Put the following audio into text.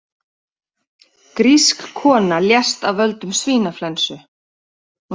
Grísk kona lést af völdum svínaflensu